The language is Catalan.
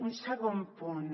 un segon punt